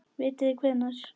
Vitið þið hvenær?